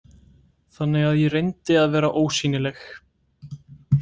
Þannig að ég reyndi að vera ósýnileg.